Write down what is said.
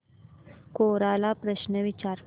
कोरा ला प्रश्न विचार